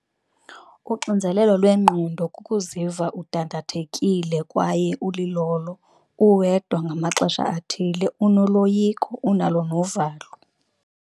Uxinzelelo lwengqondo kukuziva udandathekile kwaye ulilolo, uwedwa ngamaxesha athile. Unoloyiko unalo novalo.